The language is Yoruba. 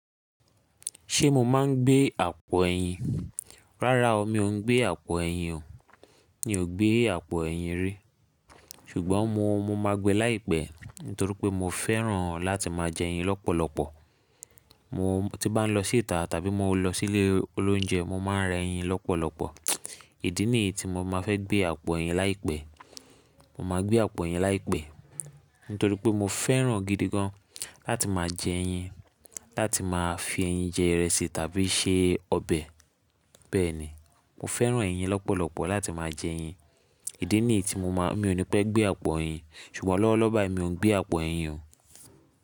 Ṣé mo máa ń gbé àpò ẹyin? Rárá o, mi ò n gbé àpò ẹyin o. Mi ò gbé àpò ẹyin rí. Ṣùgbọ́n mo, mo máa gbe láìpẹ́, nítorí pé mo fẹ́ràn láti máa jẹ ẹyin lọ́pọ̀lọpọ̀. Mo tí bá ń lọ sí ìta tàbí mo lọ sí ilé olóúnjẹ, mo máa ń rẹ ẹyin lọ́pọ̀lọpọ̀. Ìdí nìyí tí mo máa fẹ́ gbé àpò ẹyin láìpẹ́. Mo máa gbé àpò ẹyin láìpẹ́, nítorí pé mo fẹ́ràn gidi gan láti máa jẹ ẹyin, láti máa fi ẹyin jẹ ìrẹsì tàbí se ọbẹ̀. Bẹ́ẹ̀ ni, mo fẹ́ràn ẹyin lọ́pọ̀lọpọ̀ láti máa jẹ ẹyin. Ìdí nìyí tí mo máa, mi ò ní pẹ́ gbé àpò ẹyin. Ṣùgbọ́n lọ́wọ́lọ́wọ́ báyìí mi ò ń gbé àpò ẹyin o.